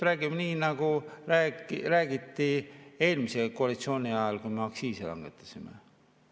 Räägime nii, nagu räägiti eelmise koalitsiooni ajal, kui me aktsiisi langetasime.